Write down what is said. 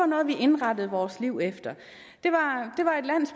noget vi indrettede vores liv efter